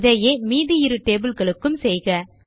இதையே மீதி இரு டேபிள் களுக்கும் செய்க